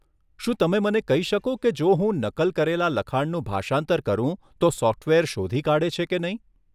શું તમે મને કહી શકો કે જો હું નકલ કરેલા લખાણનું ભાષાંતર કરું તો સોફ્ટવેર શોધી કાઢે છે કે નહીં?